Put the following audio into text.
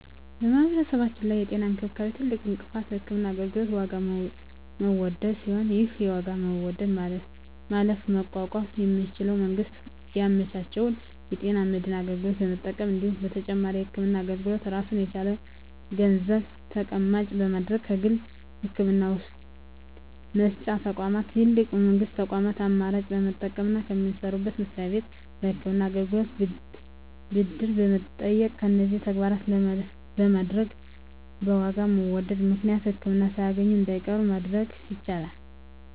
በማህበረሰባችን ላይ የጤና እንክብካቤ ትልቁ እንቅፋት የህክምና አገልግሎት የዋጋ መወደድ ሲሆን ይህን የዋጋ መወደድ ማለፍና መቋቋም የሚቻለው መንግስት ያመቻቸውን የጤና መድን አገልግሎት በመጠቀም እንዲሁም ለተጨማሪ የህክምና አገልግሎት ራሱን የቻለ ገንዘብ ተቀማጭ በማድረግ ከግል የህክምና መስጫ ተቋማት ይልቅ የመንግስት ተቋማትን አማራጭ በመጠቀምና ከሚሰሩበት መስሪያ ቤት ለህክምና አገልግሎት ብድር በመጠየቅ እነዚህን ተግባራት በማድረግ በዋጋ መወደድ ምክንያት ህክምና ሳያገኙ እንዳይቀሩ ማድረግ ይቻላል።